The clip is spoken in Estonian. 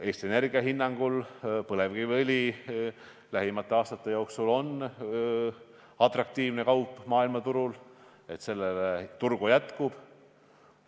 Eesti Energia hinnangul on põlevkiviõli lähimate aastate jooksul maailmaturul atraktiivne kaup, sellele turgu jätkub.